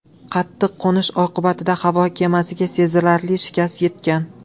Qattiq qo‘nish oqibatida havo kemasiga sezilarli shikast yetgan.